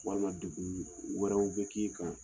Walima dugu wɛrɛw bɛ k'i